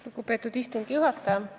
Lugupeetud istungi juhataja!